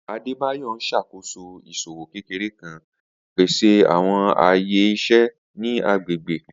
Adebayor n ṣakoso iṣowo kekere kan, pese awọn aye iṣẹ ni agbegbe.